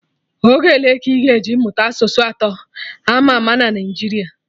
Oge ole ka ị ga-eji mụta asụsụ atọ ama ama na Naijiria